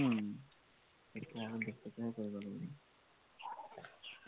উম তেতিয়া আৰু বেছিকেহে কৰিব লাগিব।